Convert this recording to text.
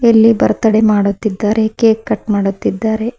ಇಲ್ಲಿ ಬರ್ತಡೇ ಮಾಡುತ್ತಿದ್ದಾರೆ cake cut ಮಾಡುತ್ತಿದ್ದಾರೆ.